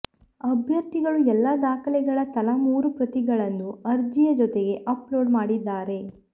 ಅಭ್ಯರ್ಥಿಗಳು ಎಲ್ಲ ದಾಖಲೆಗಳ ತಲಾ ಮೂರು ಪ್ರತಿಗಳನ್ನು ಅರ್ಜಿಯ ಜೊತೆಗೇ ಅಪ್ಲೋಡ್ ಮಾಡಿದ್ದಾರೆ